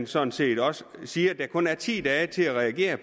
sådan set også siges at der kun er ti dage til at reagere